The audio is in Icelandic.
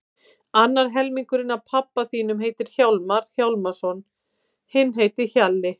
Annar helmingurinn af pabba þínum heitir Hjálmar Hjálmarsson, hinn heitir Hjalli.